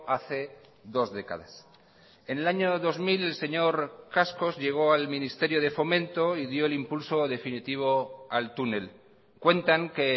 hace dos décadas en el año dos mil señor cascos llegó al ministerio de fomento y dio el impulso definitivo al túnel cuentan que